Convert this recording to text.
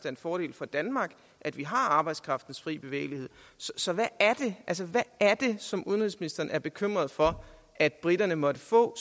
en fordel for danmark at vi har arbejdskraftens frie bevægelighed så hvad er det som udenrigsministeren er bekymret for at briterne måtte få